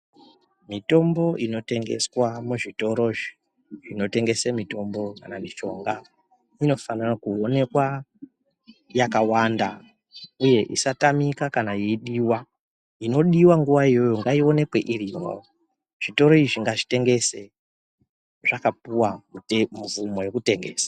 Mitombo inotengeswa muzvitoro zvinotengesa mitombo kana Mishonga inofana kuonekwa yakawanda uye isatamika kana yeidiwabinoonekwa nguwa iyoyo ngaionekwe iriyo zvitoro izvi ngazvitengese zvakapuwa mvumo yekutengesa.